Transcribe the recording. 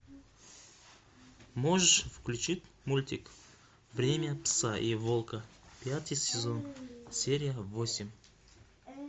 можешь включить мультик время пса и волка пятый сезон серия восемь